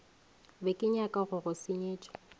be kenyaka go go senyetša